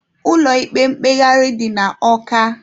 Ụlọ ikpe mkpegharị dị na Ọka.